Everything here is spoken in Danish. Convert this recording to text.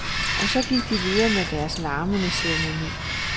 Og så gik de videre med deres larmende ceremoni.